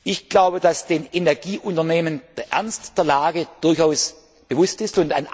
Ich glaube, dass den Energieunternehmen der Ernst der Lage durchaus bewusst